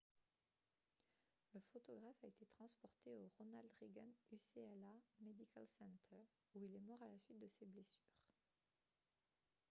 le photographe a été transporté au ronald reagan ucla medical center où il est mort à la suite de ses blessures